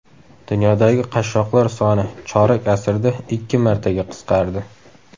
Dunyodagi qashshoqlar soni chorak asrda ikki martaga qisqardi.